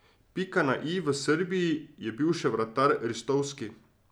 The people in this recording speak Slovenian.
Pika na i v Srbiji je bil še vratar Ristovski.